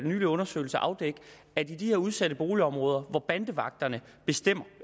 nylig undersøgelse at afdække at i de her udsatte boligområder hvor bandevagterne bestemmer